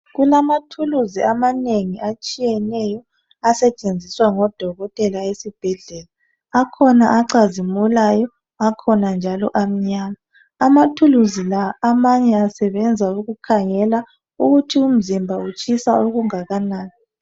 Kulamathuluzi amanengi atshiyeneyo asetshenziswa ngodokotela esibhedlela. Akhona acazimulayo .Akhona njalo amnyama .Amathuluzi la amanye asebenza ukukhangela ukuthi umzimba utshisa okungakanani. .